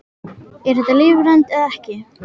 Er þetta lífrænt eða ekki?